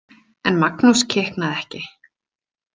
En Magnús kiknaði ekki.